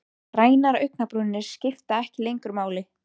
Grænar augnabrúnir skipta ekki lengur máli.